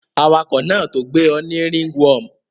Awakò náà to gbé o ni ringworm